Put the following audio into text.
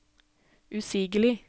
usigelig